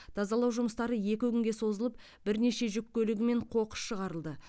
тазалау жұмыстары екі күнге созылып бірнеше жүк көлігімен қоқыс шығарылды